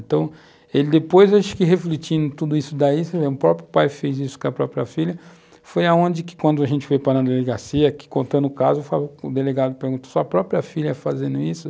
Então, ele depois, acho que refletindo tudo isso daí, o próprio pai fez isso com a própria filha, foi aonde que quando a gente foi para a delegacia, contando o caso, o delegado perguntou, sua própria filha fazendo isso?